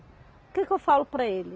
O que que eu falo para ele?